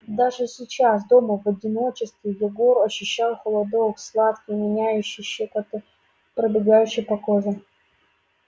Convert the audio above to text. даже сейчас дома в одиночестве егор ощущал холодок сладкий манящий щекоткой пробегающий по коже